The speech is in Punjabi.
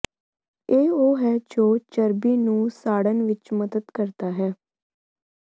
ਇਹ ਉਹ ਹੈ ਜੋ ਚਰਬੀ ਨੂੰ ਸਾੜਣ ਵਿਚ ਮਦਦ ਕਰਦਾ ਹੈ